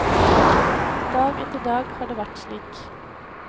Dag etter dag har det vært slik.